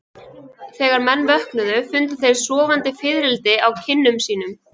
Þegar menn vöknuðu fundu þeir sofandi fiðrildi á kinnum sínum.